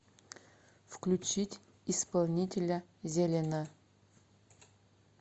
включить исполнителя зелено